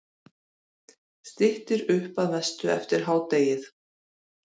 Styttir upp að mestu eftir hádegið